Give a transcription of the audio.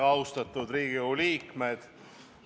Väga austatud Riigikogu liikmed!